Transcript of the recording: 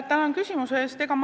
Tänan küsimuse eest!